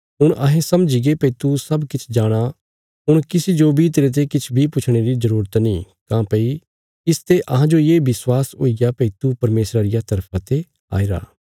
हुण अहें समझीगे भई तू सब किछ जाणाँ हुण किसी जो बी तेरते किछ बी पुछणे री जरूरत नीं काँह्भई इसते अहांजो ये विश्वास हुईग्या भई तू परमेशरा रिया तरफा ते आईरा